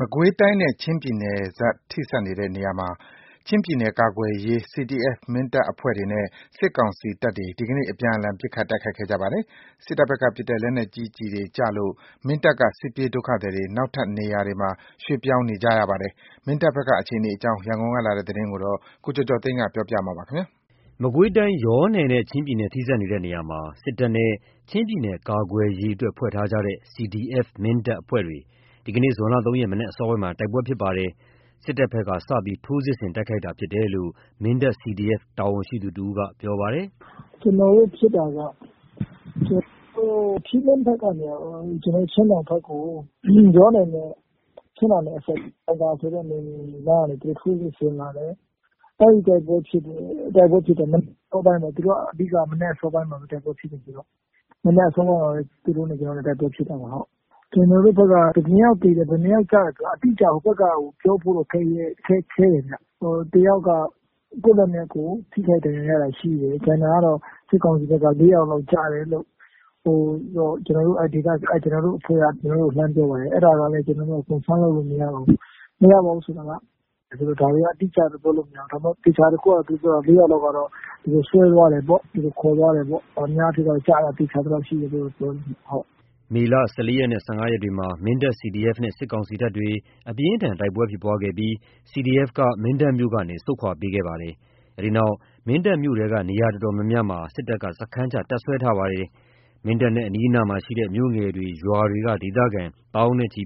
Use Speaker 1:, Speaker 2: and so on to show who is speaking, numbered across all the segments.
Speaker 1: မကွေးတိုင်းနဲ့ ချင်းပြည်နယ် ထိစပ်နေတဲ့နေရာမှာ ချင်းပြည်နယ်ကာကွယ်ရေး CDF မင်းတပ်အဖွဲ့တွေနဲ့ စစ်ကောင်စီတပ်တွေ ဒီနေ့ အပြန်အလှန် ပစ်ခတ် တိုက်ခိုက်ခဲ့ကြပါတယ်။ စစ်တပ်ဘက်က ပစ်တဲ့ လက်နက်ကြီးတွေ ကျလို့ မင်းတပ်က စစ်ပြေးဒုက္ခသည်တွေ နောက်ထပ်နေရာတွေမှာ ရွှေ့ပြောင်းနေကြရပါတယ်။ မင်းတပ်ဘက်က အခြေအနေ ရန်ကုန်ကလာတဲ့ သတင်းကို ကိုကျော်ကျော်သိန်းက ပြောပြထားပါတယ်။ မကွေးတိုင်း ယောနယ်နဲ့ ချင်းပြည် ထိဆက်နေတဲ့နေရာမှာ စစ်တပ်နဲ့ ချင်းပြည်နယ်ကာကွယ်ရေးအတွက်ဖွဲ့ထားကြတဲ့ CDF မင်းတပ်အဖွဲ့တွေ ဒီကနေ့ ဇွန် ၃ ရက် မနက်အစောပိုင်းမှာ တိုက်ပွဲဖြစ်ခဲ့ကြပါတယ်။ စစ်တပ်ဘက်က စပြီး ထိုးစစ်ဆင် တိုက်ခိုက်တာဖြစ်တယ်လို့ မင်းတပ် CDF က တာဝန်ရှိသူတဦးက ပြောပါတယ်
Speaker 2: ။ ကျနော်တို့ဖြစ်တာက ထီးလင်းဘက်ကနေ ချင်းတောင်ဘက်ကို ကျနော်တို့ ယောနယ်နဲ့ ချင်းတောင်အစပ် အောင်သာယာရွာဆိုတဲ့နေရာကနေ သူတို့ ထိုးစစ်ဆင်လာတယ်။ အဲ့ဒီတိုက်ပွဲဖြစ်တယ်။ မနက် အစောပိုင်းမှာ တိုက်ပွဲဖြစ်တယ်။ မနက်အစောပိုင်းမှာ သူတို့နဲ့ကျနော်တို့ တိုက်ပွဲဖြစ်တာပါ။ ကျနော်တို့ဘက်က ဟိုဘက်က ဘယ်နှယောက်ကျတယ် ဘယ်နှယောက်သေတယ်ဆိုတာ အတိအကျ ပြောဖို့ ခဲယဉ်းတယ်။ တယောက်က ကိုယ့်ဟာကိုယ် ထိခိုက်မိတာရှိတယ်။ ကျန်တာ ဟိုဘက်စစ်ကောင်စီဘက်က ၄ ယောက်လောက် ကျတယ်လို့ ကျနော်တို့ အဖွဲ့က ကျနော်တို့ကို လှမ်းပြောပါတယ်။ အဲ့ဒါလည်း confirm လုပ်လို့မရပါဘူး။ မရပါဘူးဆိုတာက ဒါတွေက အတိကျပြောလို့ မရဘူး။ သေချာတာ တခုက ၄ ယောက်လောက်က သူတို့ဆွဲသွားတယ်ပေါ့ ခေါ်သွားတယ်ပေါ့။ အများအားဖြင့် ကျတာ သေချာသလောက်ရှိတယ်။ပြောတယ်။
Speaker 1: မေလ ၁၄ ရက် နဲ့ ၁၅ ရက်တွေမှာ မင်းတပ် CDF နဲ့ စစ်ကောင်စီတပ်တွေ အပြင်းအထန် တိုက်ပွဲဖြစ်ပွားခဲ့ပြီး CDF က မင်းတပ်မြို့ကနေ ဆုတ်ခွါပေးခဲ့ကြပါတယ်။ အဲဒီနောက် မင်းတပ်မြို့ထဲက နေရာတော်တော်များများမှာ စစ်တပ်က စခန်းချ တပ်စွဲထားပါတယ်။ မင်းတပ်နဲ့ အနီးအနားရှိတဲ့ မြို့ငယ်တွေ ရွာတွေက ဒေသခံ သောင်းနဲ့ချီ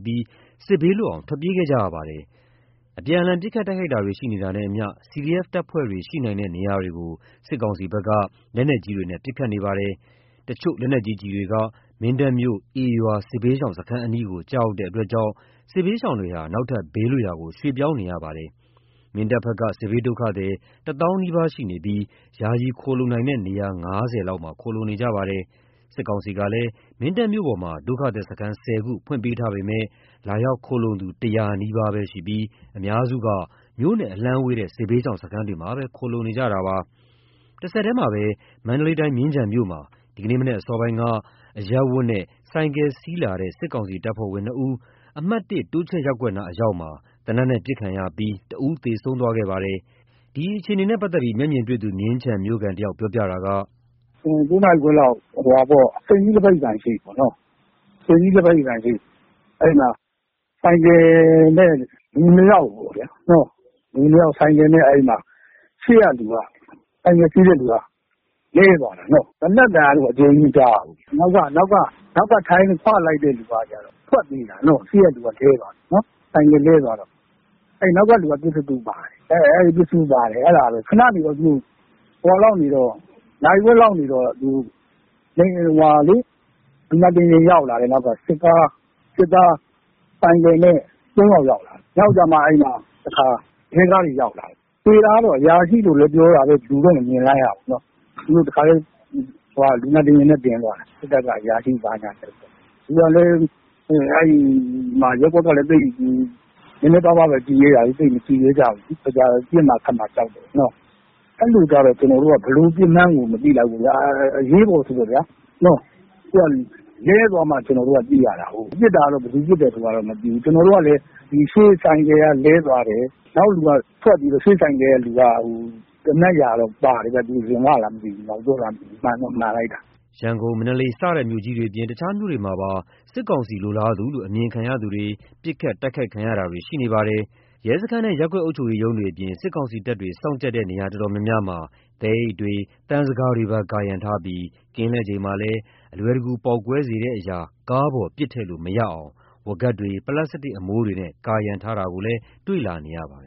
Speaker 1: စစ်ဘေးလွတ်အောင် ထွက်ပြေးခဲ့ကြရပါတယ်။ အပြန်အလှန် ပစ်ခတ် တိုက်ခိုက်မှုတွေ ရှိနေတာနဲ့အတူ CDF တပ်ဖွဲ့တွေ ရှိနိုင်တဲ့နေရာတွေကို စစ်ကောင်စီဘက်က လက်နက်ကြီးတွေနဲ့ ပစ်ခတ်နေပါတယ်။ တချို့လက်နက်ကြီးကျည်တွေက မင်းတပ်မြို့ ဧရွာ စစ်ဘေးရှောင်စခန်းအနီးကို ကျရောက်တဲ့အတွက်ကြောင့် စစ်ဘေးရှောင်တွေဟာ နောက်ထပ်ဘေးလွတ်ရာကို ရွှေ့ပြောင်းနေရပါတယ်။ မင်းတပ်ဘက်က စစ်ဘေးဒုက္ခသည် ၁၀,၀၀၀ နီးပါးရှိနေပြီး ယာယီခိုလှုံနိုင်တဲ့ နေရာ ၅၀ လောက်မှာ ခိုလှုံနေကြပါတယ်။ စစ်ကောင်စီကလည်း မင်းတပ်မြို့ပေါ်မှာ ဒုက္ခသည်စခန်း ၁၀ ခုဖွင့်ပေးထားပေမဲ့ လာရောက်ခိုလှုံသူ ၁၀၀ နီးပါးပဲရှိပြီး အများစုဟာ မြို့နဲ့အလှမ်းဝေးတဲ့ စစ်ဘေးရှောင် စခန်းတွေမှာပဲ ခိုလှုံနေကြပါတယ်။ တဆက်တည်းမှာပဲ မန္တလေးတိုင်း မြင်းခြံမြို့မှာ ဒီကနေ့ မနက်အစောပိုင်းက အရပ်ဝတ်နဲ့ ဆိုင်ကယ်စီးလာတဲ့ စစ်ကောင်စီ တပ်ဖွဲ့ဝင်နှစ်ဦး အမှတ် ၁ တိုးချဲ့ရပ်ကွက်နားအရောက်မှာ သေနတ်နဲ့ ပစ်ခတ်ခံရပြီး တဦးသေဆုံးသွားခဲ့ပါတယ်။ ဒီအခြေအနေနဲ့ ပတ်သက်လို့ မျက်မြင် မြင်းခြံ မြို့ခံတယောက်က အခုလို ပြောပြပါတယ်
Speaker 3: ။ ၉ နာရီခွဲလောက် စိန်ကြီး လက်ဘက်ရည်ဆိုင်ရှေ့ အဲ့ဒီမှာ ဆိုင်ကယ်နဲ့ လူ ၂ ယောက်ပေါ့နော်။ ရှေ့က ဆိုင်ကယ်စီးတဲ့သူက လဲသွားတာပေါ့။ သေနတ်သံကအကျယ်ကြီးမကြားရဘူး။ အနောက်က ခွလိုက်တဲ့သူက ထွက်ပြေးတာ ရှေ့က လူက လဲသွားတော့။ နောက်ကလူက ပစ္စတိုပါတယ်။ ခဏနေတော့ နာရီဝက်လောက် နေတော့ လူနာတင်ယာဉ်ရောက်လာတယ်။ စစ်ကား၊ စစ်သား ဆိုင်ကယ်နဲ့ ၃ ယောက် ရောက်လာတယ်။ နောက်ကျမှ တခါ ရဲကားတွေရောက်လာတယ်။ သေတာက အရာရှိလို့ပြောတာပဲ လူတော့ မမြင်လိုက် ရဘူး။ သူတို့တခါတည်း လူနာတင်ယာဉ်နဲ့ တင်သွားတယ်။ စစ်တပ်က အရာရှိဘာညာပေါ့။ ရပ်ကွက်ကလည်း နည်းနည်းပါးပါး ကြည့်ရဲတာလေ။ သိပ်မကြည့်ရဲကြဘူးလေ။ တော်ကြာ ပစ်မှာ ခတ်မှာကြောက်တယ်ပေါ့နော်။ အဲ့ဒီလိုကျတော့ ဘယ်လိုပစ်မှန်းကို မသိလိုက်ဘူး။ အရေးပေါ်ဆိုတော့ လဲသွားမှ ကျနော်တို့က သိရတာ။ ပစ်တာက ဘယ်သူပစ်တယ် ဆိုတာမသိဘူး။ ကျနော်တို့ကလည်း ရှေ့ဆိုင်ကယ်ကလဲသွားတယ်။ နောက်လူက ထွက်ပြေးတယ်။ ရှေ့ဆိုင်ကယ်ကလူက သေနတ်ရာတော့ ပါတယ်။ ရင်ဝလား နောက်ကြောလား မသိဘူး မှန်တော့မှန်တယ်
Speaker 1: ။ ရန်ကုန်၊ မန္တလေး စတဲ့မြို့ကြီးတွေအပြင် တခြားမြို့တွေမှာပါ စစ်ကောင်စီလိုလားသူလို့ အမြင်ခံရသူတွေ ပစ်ခတ် တိုက်ခိုက်ခံရတာတွေ ရှိနေပါတယ်။ ရဲစခန်းနဲ့ ရပ်ကွက်အုပ်ချုပ်ရေးရုံးတွေအပြင် စစ်ကောင်စီတပ်တွေ စောင့်ကြပ်တဲ့နေရာတော်တော်များများမှာ သဲအိတ်တွေအပြင် သံဇကာတွေပါ ကာရံထားပြီး ကင်းလှည့်ချိန်မှာလည်း အလွယ်တကူ ပေါက်ကွဲစေတဲ့အရာ ကားပေါ် ပစ်ထည့်လို့မရအောင် ဝါးကပ်တွေ ပလပ်စတစ်အမိုးတွေနဲ့ ကာရံထားတာကိုလည်း တွေ့လာရပါတယ်